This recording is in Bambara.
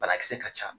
Banakisɛ ka ca